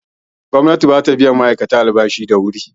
Gwamnati bata biyan ma'aikata albashi da wuri